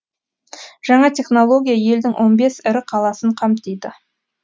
жаңа технология елдің он бес ірі қаласын қамтиды